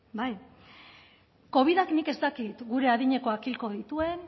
covidak nik ez dakit gure adinekoak hilko dituen